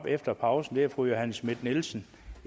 efter pausen er fru johanne schmidt nielsen